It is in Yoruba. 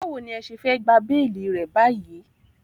Báwo ní ẹ ṣe fẹ́ gba béélì rẹ̀ báyìí?